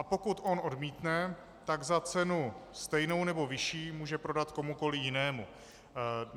A pokud on odmítne, tak za cenu stejnou nebo vyšší může prodat komukoliv jinému.